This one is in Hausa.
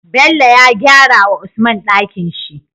Bello ya gyara wa usman Ɗakinshi